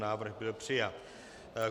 Návrh byl přijat.